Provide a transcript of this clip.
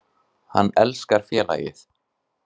Hann elskar félagið.